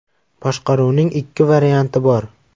Boshqaruvning ikki varianti bor.